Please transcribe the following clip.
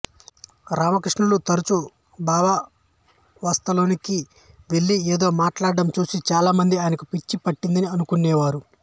రామకృష్ణులు తరచూ భావావస్థలోకి వెళ్ళి ఏదో మాట్లాడడం చూసి చాలామంది ఆయనకు పిచ్చి పట్టింది అనుకునేవారు